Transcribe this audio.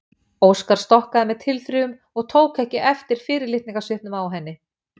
Óskar stokkaði með tilþrifum og tók ekki eftir fyrirlitningarsvipnum á henni.